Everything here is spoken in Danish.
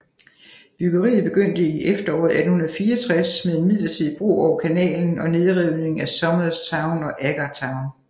Byggeriet begyndte i efteråret 1864 med en midlertidig bro over kanalen og nedrivningen af Somers Town og Agar Town